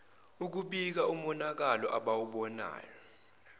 ukubika umonakalo abawubonayo